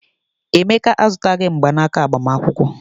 Emeka azụtaghị mgbanaka agbamakwụkwọ.